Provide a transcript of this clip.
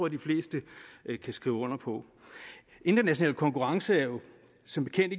at de fleste kan skrive under på international konkurrence er jo som bekendt